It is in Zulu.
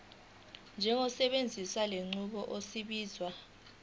njengosebenzisa lenqubo obizwa